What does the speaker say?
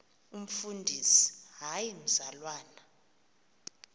umfundisi hayi mzalwana